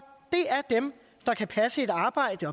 et arbejde